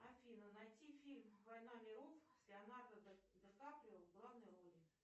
афина найти фильм война миров с леонардо ди каприо в главной роли